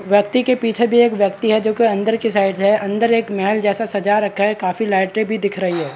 व्यक्ति के पीछे भी एक व्यक्ति है जो की अंदर की साइड है अंदर एक मेहल जैसे सजा रखा काफी लाइटे भी दिख रही है।